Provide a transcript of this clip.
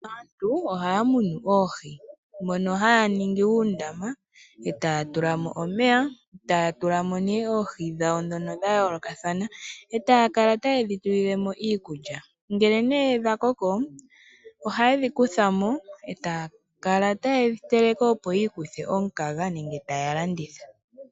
Aantu ohaya munu oohi mono haya ningi uundama e taya tulamo omeya, taya tulamo ne oohi dhawo dhono dhayoolokathana e tayakala taye dhitulilemo iikulya, ngele ne dhakoko ohaye dhikuthamo e tayakala tayedhi teleke opo yiikuthe omukaga nenge tayalanditha